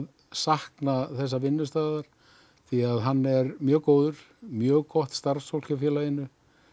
sakna þessa vinnustaðar því að hann er mjög góður mjög gott starfsfólk hjá félaginu